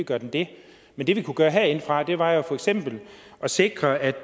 gør den det men det vi kunne gøre herindefra var for eksempel at sikre at